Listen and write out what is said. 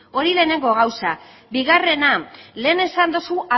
hori lehenengo gauza bigarrena lehen esan duzu